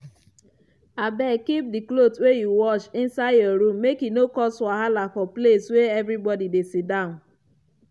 abeg keep cloth wey u wash inside your room make e no cause wahala for place wey everybody dey siddan.